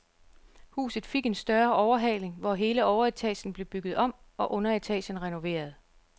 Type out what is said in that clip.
Huset fik en større overhaling, hvor hele overetagen blev bygget om og underetagen renoveret.